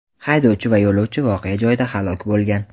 Haydovchi va yo‘lovchi voqea joyida halok bo‘lgan.